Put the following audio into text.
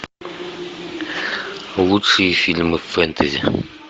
лучшие фильмы фэнтези